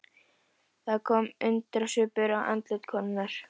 Það kom undrunarsvipur á andlit konunnar.